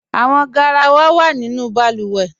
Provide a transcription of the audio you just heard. Awọn gáràwà wa nínu awọn bàlúwẹ́.